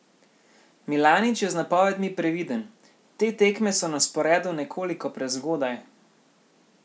Milanič je z napovedmi previden: "Te tekme so na sporedu nekoliko prezgodaj.